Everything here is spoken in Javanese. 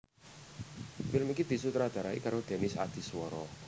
Film iki disutradarai karo Denis Adiswara